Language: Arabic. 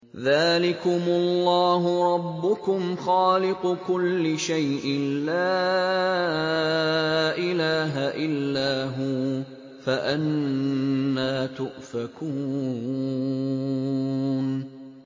ذَٰلِكُمُ اللَّهُ رَبُّكُمْ خَالِقُ كُلِّ شَيْءٍ لَّا إِلَٰهَ إِلَّا هُوَ ۖ فَأَنَّىٰ تُؤْفَكُونَ